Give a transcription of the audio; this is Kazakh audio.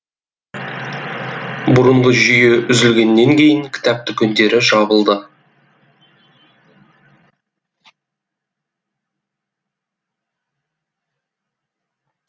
бұрынғы жүйе үзілгеннен кейін кітап дүкендері жабылды